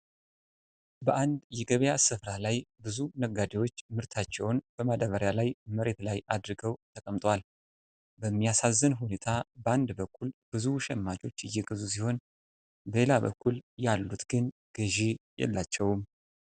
በአንድ የገበያ ስፍራ ላይ ብዙ ነጋዴዎች ምርታቸውን በማዳበሪያ ላይ መሬት ላይ አድርገው ተቀምጠዋል። በሚያሳዝን ሁኔታ በአንድ በኩል ብዙ ሸማቾች እየገዙ ሲሆን በሌላ በኩል ያሉት ግን ገዢ የላቸውም።